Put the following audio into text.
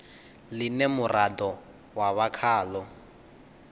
ḽine muraḓo wa vha khaḽo